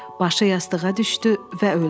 Başı yastığa düşdü və öldü.